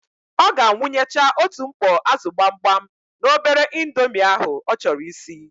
Ọ ga-awụnyecha otu mkpọ ázụ̀ gbamgbam n'obere indomi ahụ ọ chọrọ isi.